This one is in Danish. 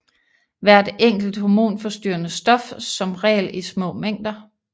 Hvert enkelt hormonforstyrrende stof som regel i små mængder